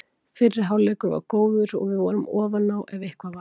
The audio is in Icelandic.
Fyrri hálfleikur var góður og við vorum ofan á ef eitthvað var.